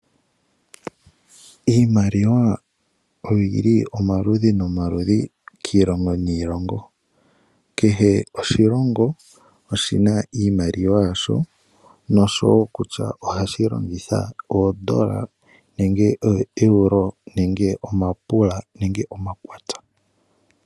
Iimaliwa oyi li omaludhi nomaludhi kiilongo niilongo, kehe oshilongo oshi na iimaliwa yasho nosho woo kutya ohashi longitha oondola nenge oEuro nenge omapula nenge omakwanza.